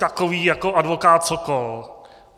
Takoví jako advokát Sokol.